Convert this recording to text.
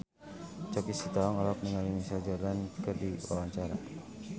Choky Sitohang olohok ningali Michael Jordan keur diwawancara